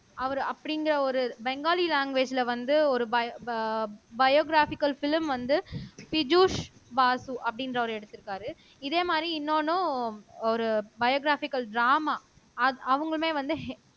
அவரு அப்படிங்கிற ஒரு பெங்காலி லாங்குவேஜேல வந்து ஒரு பயோ பயோகிராபிக்கில் பிலிம் வந்து பிஜூஷ் வாசு அப்படின்றவரு எடுத்திருக்காரு இதே மாதிரி இன்னொன்னும் ஒரு பயோகிராபிக்கில் ட்ராமா அவங்களுமே வந்து ஹே